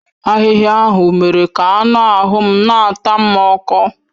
Ahịhịa ahụ mere ka anụ ahụ m na-ata m ọkọ.